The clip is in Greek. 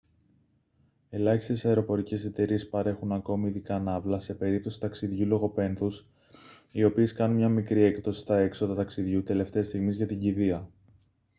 ελάχιστες αεροπορικές εταιρείες παρέχουν ακόμη ειδικά ναύλα σε περίπτωση ταξιδιού λόγω πένθους οι οποίες κάνουν μια μικρή έκπτωση στα έξοδα ταξιδιού τελευταίας στιγμής για την κηδεία